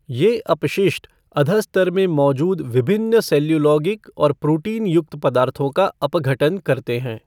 ये अपशिष्ट अधःस्तर में मौजूद विभिन्न सेल्युलोगिक और प्रोटीनयुक्त पदार्थों का अपघटन करते हैं।